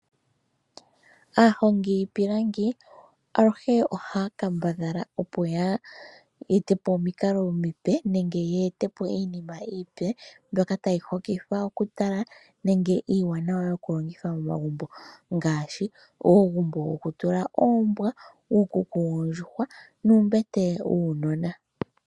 Aahongi yiipilangi aluhe ohaya kambadhala opo ya e te po omikalo omipe nenge ye ete po iinima iipe mbyoka tayi hokitha oku tala nenge iiwaanawa yoku longithwa momagumbo ngaashi uugumbo woku tula oombwa, uukuku woondjuhwa, nuumbete wuunona.